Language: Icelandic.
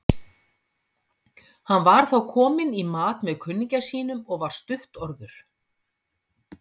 Hann var þá kominn í mat með kunningja sínum og var stuttorður.